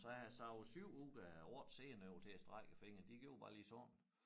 Så har jeg savet 7 ud af 8 sener over til at strække æ fingre de gjorde bare lige sådan